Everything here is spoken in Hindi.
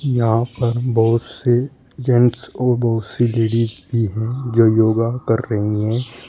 यहां पर बहुत से जेंट्स और बहुत सी लेडीज़ भी है जो योगा कर रही है।